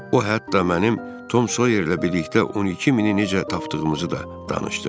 O hətta mənim Tom Soyerlə birlikdə 12 mini necə tapdığımızı da danışdı.